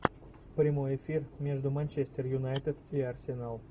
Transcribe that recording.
прямой эфир между манчестер юнайтед и арсенал